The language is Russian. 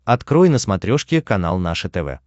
открой на смотрешке канал наше тв